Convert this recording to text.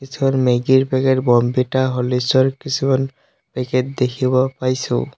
কিছুমান মেগী ৰ packet Bournvita হৰলিচৰ ৰ কিছুমান পেকেট দেখিব পাইছো।